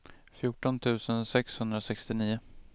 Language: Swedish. fjorton tusen sexhundrasextionio